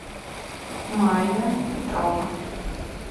майя петрова